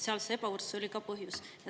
See ebavõrdsus oli ka põhjus.